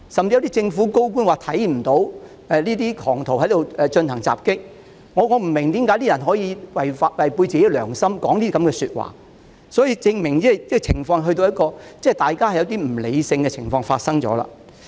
有些政府高官甚至說看不到有狂徒進行襲擊，我不明白有些人為何可以違背良心，說出這樣的話，而這證明大家已經出現不理性的情況。